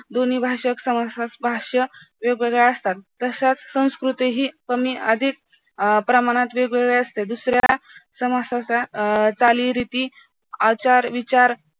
दोन्ही भाषाक भाषा वेग वेगळ्या असतात तशाच संस्कृती हि कमी अधिक प्रमाणात वेग वेगळ्या असतात दुऱ्या चाली रीती आचार विचार